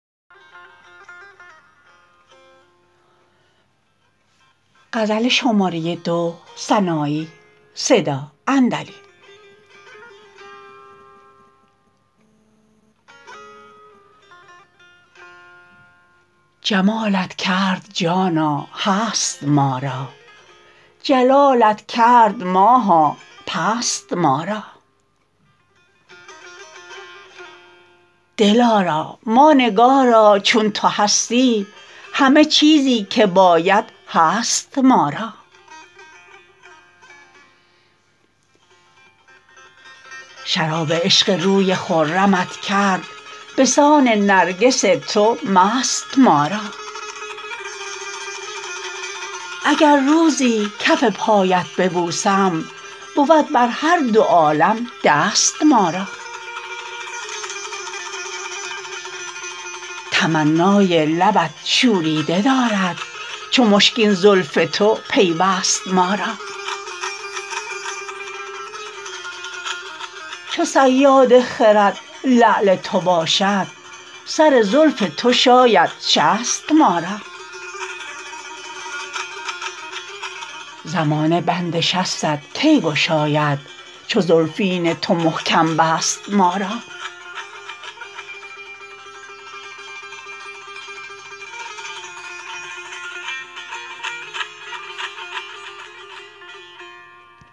جمالت کرد جانا هست ما را جلالت کرد ماها پست ما را دل آراما نگارا چون تو هستی همه چیزی که باید هست ما را شراب عشق روی خرمت کرد بسان نرگس تو مست ما را اگر روزی کف پایت ببوسم بود بر هر دو عالم دست ما را تمنای لبت شوریده دارد چو مشکین زلف تو پیوست ما را چو صیاد خرد لعل تو باشد سر زلف تو شاید شست ما را زمانه بند شستت کی گشاید چو زلفین تو محکم بست ما را